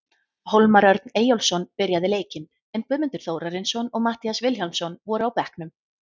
Hólmar Örn Eyjólfsson byrjaði leikinn, en Guðmundur Þórarinsson og Matthías Vilhjálmsson voru á bekknum.